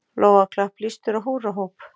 Lófaklapp, blístur og húrrahróp.